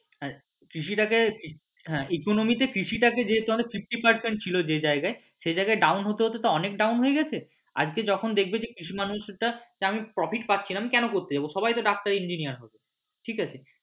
কৃষি টাকে economy তে কৃষি টাকে যেহেতু আমাদের fifty percent ছিল ওই জায়গাটায় সেই জায়গায় down হতে হতে তো অনেক down হয়ে গেছে আজকে যখন দেখবে যে কৃষি মানুষ টা যে আমি profit পাচ্ছিনা আমি কেন করতে যাবো সবাই তো doctor engineer হবে ঠিক আছে।